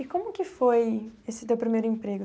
E como que foi esse teu primeiro emprego?